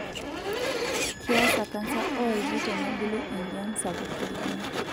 Keasa kansa oolki tenebulu enjian sapuk tolkina.